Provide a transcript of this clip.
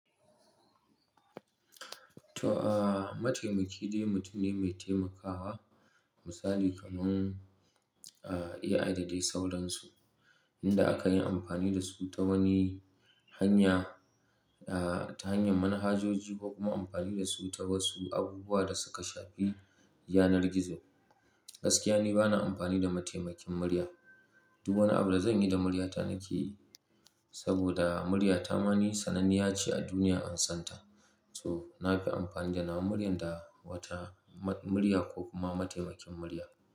To, aah, mataimaki dai mutum ne mai taimakawa. Misali kamar, aah, AI da dai sauran su, inda aka yi amfani da su ta wani hanya, aah, ta hanyar manhajoji ko kuma amfani da su ta wasu abubuwa da suka shafi yanar gizo. Gaskiya ni bana amfani da mataimakin murya. Duk wani abu da zanyi da murya ta nake yi saboda murya ta ma ni sananniya ce a duniya, an santa. So, na fi amfani da nawa murya da wata ma-murya ko kuma mataimakin murya.